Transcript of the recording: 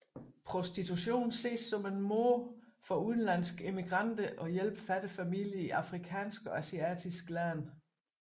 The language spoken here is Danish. Prostitution ses som en måde for udenlandske immigranter at hjælpe fattige familier i afrikanske og asiatiske lande